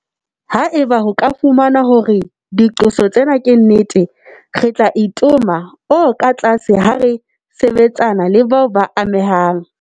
Haeba ho ka fumanwa hore diqoso tsena ke nnete, re tla itoma o katlase ha re sebetsana le bao ba amehang.